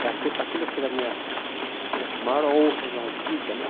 Eu achei para aquilo que era a minha minha maior honra na vida, né?